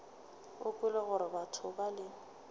o kwele gore batho bale